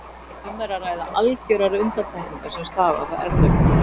Um er að ræða algjörar undantekningar sem stafa af erfðagalla.